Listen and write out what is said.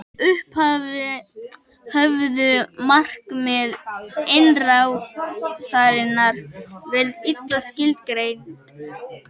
í upphafi höfðu markmið innrásarinnar verið illa skilgreind